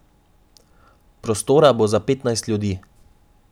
Prostora bo za petnajst ljudi.